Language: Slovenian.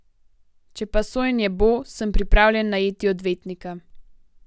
Če pa sojenje bo, sem pripravljen najeti odvetnika.